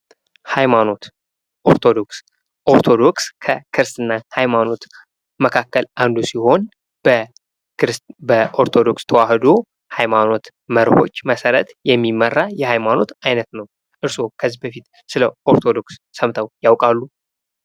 ሃይማኖት ኦርቶዶክስ ኦርቶዶክስ ከክርስትና ሃይማኖት መካከል አንዱ ሲሆን በኦርቶዶክስ ተዋሕዶ ሃይማኖት መርሆዎች መሠረት የሚመራ የሃይማኖት አይነት ነው። እርስዎ ከዚህ በፊት ስለ ኦርቶዶክስ ሰምተው ያውቃሉ?